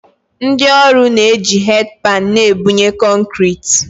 Ndị ọrụ na-eji headpan na-ebunye kọnkịrịtị